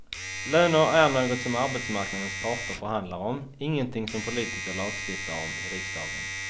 Löner är något som arbetsmarknadens parter förhandlar om, ingenting som politiker lagstiftar om i riksdagen.